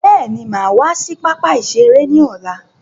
Bẹ́ẹ̀ni, máa wá sí pápá ìṣeré ni ọ̀la.